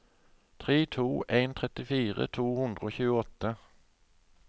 tre åtte to en trettifire to hundre og tjueåtte